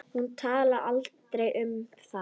Hún talaði aldrei um það.